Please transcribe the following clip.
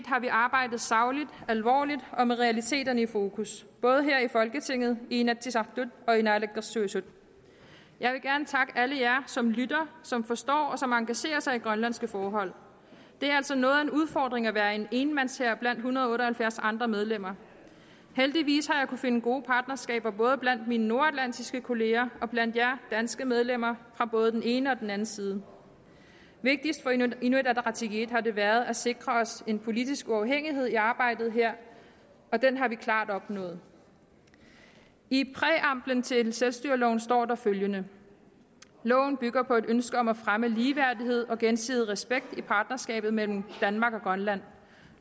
har vi arbejdet sagligt alvorligt og med realiteterne i fokus både her i folketinget i inatsisartut og i naalakkersuisut jeg vil gerne takke alle jer som lytter som forstår og som engagerer sig i grønlandske forhold det er altså noget af en udfordring at være en enmandshær blandt en hundrede og otte og halvfjerds andre medlemmer heldigvis har jeg finde gode partnerskaber både blandt mine nordatlantiske kolleger og blandt alle jer danske medlemmer fra både den ene og den anden side vigtigst for inuit ataqatigiit har det været at sikre os en politisk uafhængighed i arbejdet her og den har vi klart opnået i præamblen til selvstyreloven står der følgende loven bygger på et ønske om at fremme ligeværdighed og gensidig respekt i partnerskabet mellem danmark og grønland